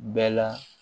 Bɛɛ la